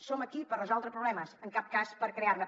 som aquí per resoldre problemes en cap cas per crear ne